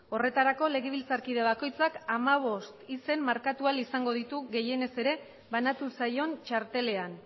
horretarako legebiltzarkide bakoitzak hamabost izen markatu ahal izango ditu gehienez ere banatu zaion txartelean